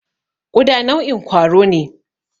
Ƙuda nau'in kwaro ne.